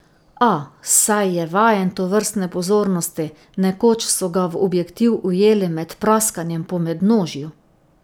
A, saj je vajen tovrstne pozornosti, nekoč so ga v objektiv ujeli med praskanjem po mednožju.